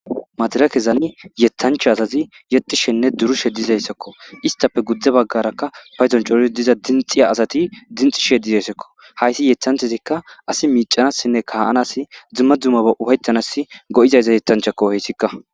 madira kezani yethancha azazi yexishenne durushe dizayssakko istafe guddze baggarakka payzon cori diza dinxiya asati dinxishe dizayssokko hayssi yethanthezikka asi miicanassinne kaa7anas dzumma dzumaba ufaytanas go7izaysza yetanchakko heyssikka